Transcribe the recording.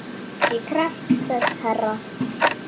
Ég krefst þess herra!